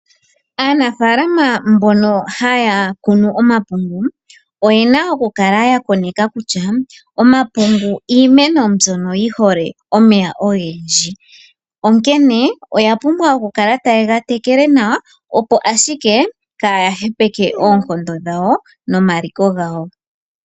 Aanafalama mbono haya kunu omapungu. Oyena oku kala ya koneka kutya omapungu iimeno mbyono yi hole omeya ogendji. Onkene oya pumbwa oku kala taye ga tekele nawa. Opo ashike kaya hepeke oonkondo dhawo nomaliko gawo.